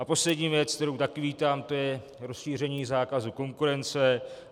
A poslední věc, kterou také vítám, to je rozšíření zákazu konkurence.